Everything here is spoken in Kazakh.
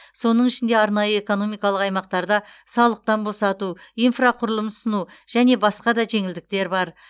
соның ішінде арнайы экономикалық аймақтарда салықтан босату инфрақұрылым ұсыну және басқа да жеңілдіктер бар